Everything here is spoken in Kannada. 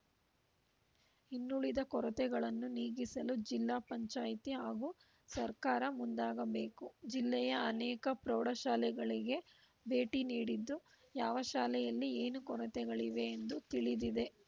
ಇನ್ನುಳಿದ ಕೊರತೆಗಳನ್ನು ನೀಗಿಸಲು ಜಿಲ್ಲಾ ಪಂಚಾಯಿತಿ ಹಾಗೂ ಸರ್ಕಾರ ಮುಂದಾಗಬೇಕು ಜಿಲ್ಲೆಯ ಅನೇಕ ಪ್ರೌಢಶಾಲೆಗಳಿಗೆ ಭೇಟಿ ನೀಡಿದ್ದು ಯಾವ ಶಾಲೆಯಲ್ಲಿ ಏನು ಕೊರತೆಗಳಿವೆ ಎಂದು ತಿಳಿದಿದೆ